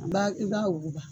An ba, i b'a wuguba.